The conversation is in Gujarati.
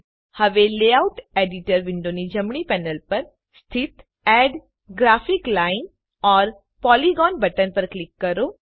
હવે લેઆઉટ એડિટર વિન્ડોની જમણી પેનલ પર સ્થિત add graphic line or polygon button પર ક્લિક કરો